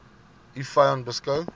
u vyand beskou